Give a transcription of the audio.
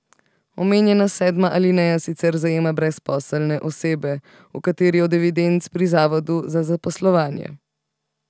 Omenjena sedma alineja sicer zajema brezposelne osebe v kateri od evidenc pri zavodu za zaposlovanje.